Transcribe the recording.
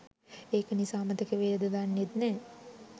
ඒක නිසා අමතක වේද දන්නෙත් නෑ